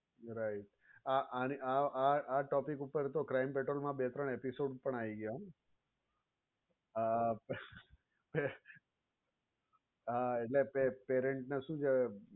you're right અને આ topic પર તો crime petrol મા બે ત્રણ episode પણ આવી ગયા. આ હા એટલે parent ને શું કેહવાય